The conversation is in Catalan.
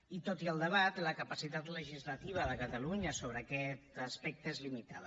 i tot i el debat la capacitat legislativa de catalunya sobre aquest aspecte és limitada